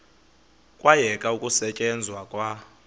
kwayekwa ukusetyenzwa kwa